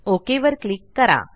okay वर click करा